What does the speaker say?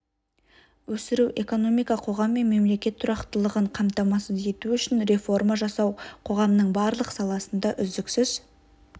өсіру экономика қоғам және мемлекет тұрақтылығын қамтамасыз ету үшін реформа жасау қоғамның барлық саласында үздіксіз